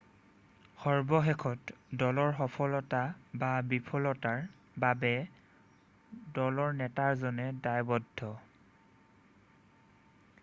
সৰ্বশেষত দলৰ সফলতা বা বিফলতাৰ বাবে দলনেতাজনেই দায়ৱদ্ধ